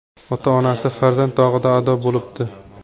Ota-onasi farzand dog‘ida ado bo‘libdi.